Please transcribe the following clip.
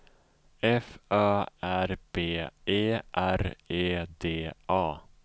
F Ö R B E R E D A